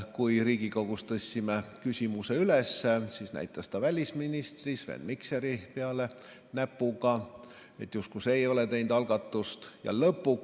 Kui me Riigikogus tõstsime küsimuse üles, siis näitas ta näpuga välisminister Sven Mikseri peale, justkui see ei olnud algatust teinud.